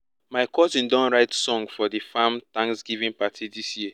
my cousin don write song for di farm thanksgiving party dis year